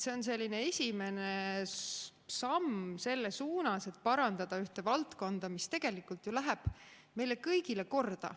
See on esimene samm selles suunas, et parandada ühte valdkonda, mis tegelikult ju läheb meile kõigile korda.